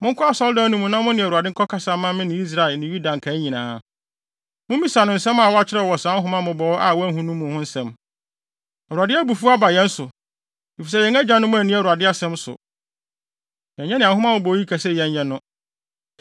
“Monkɔ Asɔredan no mu na mo ne Awurade nkɔkasa mma me ne Israel ne Yuda nkae nyinaa. Mummisa no nsɛm a wɔakyerɛw wɔ saa nhoma mmobɔwee a wɔahu no mu ho nsɛm. Awurade abufuw aba yɛn so, efisɛ yɛn agyanom anni Awurade asɛm so. Yɛnyɛ nea nhoma mmobɔwee yi ka sɛ yɛnyɛ no.”